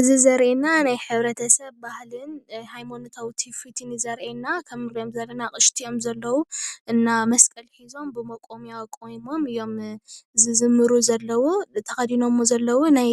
እዚ ዘርእየና ናይ ሕብረተሰብ ባህልን ሃይማኖታዊ ትውፊትን እዩ ዘርእየና፡፡ ከም እንሪኦም ዘለና አቕይሽቲ እዮም ዘለዉ እና መስቀል ሒዞም ብመቖምያ ቆይሞም እዮም ዝዝምሩ ዘለዉ፡፡ ተኸዲኖሞ ዘለዉ ናይ